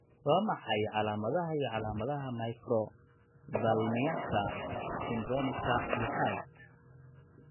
Waa maxay calaamadaha iyo calaamadaha Microphthalmiaka syndromicka lixaad?